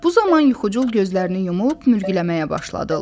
Bu zaman yuxucul gözlərini yumub mürgüləməyə başladı.